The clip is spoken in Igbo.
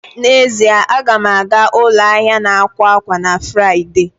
N'ezie, a ga m aga ụlọ ahịa akwa akwa na Fraịde